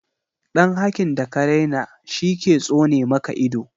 Dan hakin da ka raina shi ke tsone maka ido